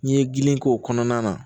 N'i ye gili k'o kɔnɔna na